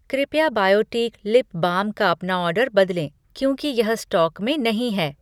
कृपया Biotique lip balm का अपना ऑर्डर बदलें क्योंकि यह स्टॉक में नहीं है।